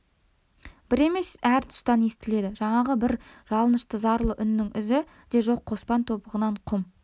бір емес әр тұстан естіледі жаңағы бір жалынышты зарлы үннің ізі де жоқ қоспан тобығынан құм